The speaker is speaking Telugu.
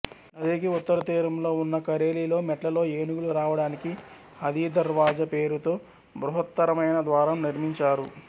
నదికి ఉత్తరతీరంలో ఉన్న కరేలిలో మెట్లలో ఏనుగులు రావడానికి హాథీదర్వాజా పేరుతో బృహత్తరమైన ద్వారం నిర్మించారు